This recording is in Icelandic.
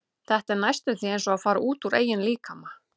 Þetta er næstum því eins og að fara út úr eigin líkama.